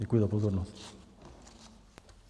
Děkuji za pozornost.